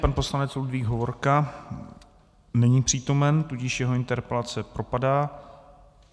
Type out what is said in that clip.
Pan poslanec Ludvík Hovorka není přítomen, tudíž jeho interpelace propadá.